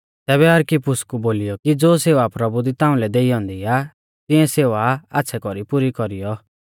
तैबै अरखिप्पुस कु बोलीयौ कि ज़ो सेवा प्रभु दी ताउंलै देई औन्दी आ तिऐं सेवा आच़्छ़ै कौरी पुरी कौरीयौ